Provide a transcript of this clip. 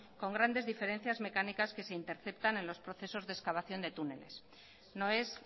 con grandes diferencias mecánicas que se interceptan en los procesos de excavación de túneles no es